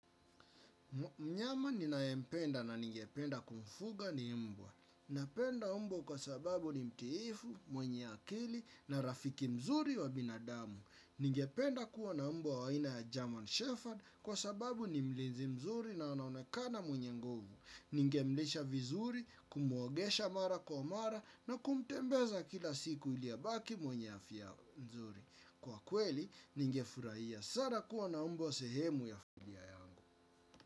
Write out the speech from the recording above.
Mnyama ni ninayempenda na ningependa kumfuga ni mbwa. Napenda mbwa kwa sababu ni mtiifu, mwenye akili na rafiki mzuri wa binadamu. Ningependa kuwa na mbwa waina ya German Shepherd kwa sababu ni mlinzi mzuri na anaonekana mwenye nguvu. Ningemlisha vizuri, kumuogesha mara kwa mara na kumtembeza kila siku iliabaki mwenye afya mzuri. Kwa kweli, ningefurahia. Sana kuwa na mbwa sehemu ya familia yangu.